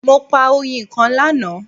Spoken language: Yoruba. Mo pa oyin kan lana